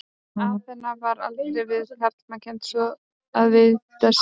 Aþena var aldrei við karlmann kennd svo að vitað sé.